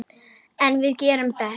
En við gerum betur.